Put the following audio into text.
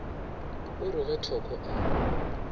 o re ge thoko a